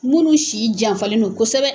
Minnu si janfalen don kosɛbɛ